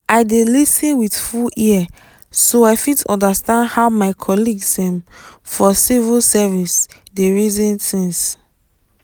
i dey lis ten with full ear so i fit understand how my colleagues um for civil service dey reason things.